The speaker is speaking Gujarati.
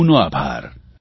આપ સૌનો આભાર